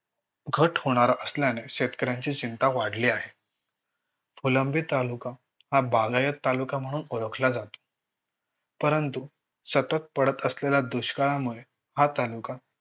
घट होणार असल्याने शेतकऱ्यांची चिंता वाढली आहे. फुलंब्री तालुका हा बागायती तालुका म्हणून ओळखला जातो. परंतु सतत पडत असलेल्या दुष्काळामुळे हा तालुका